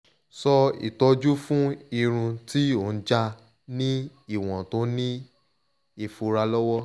so itoju fun irun ti o n ja ni iwon to ni ifura lowo